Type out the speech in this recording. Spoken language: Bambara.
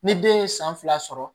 Ni den ye san fila sɔrɔ